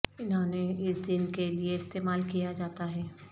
انہوں نے اس دن کے لئے استعمال کیا جاتا ہے